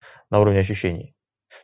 на уровне ощущений